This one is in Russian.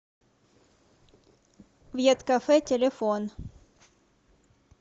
вьеткафе телефон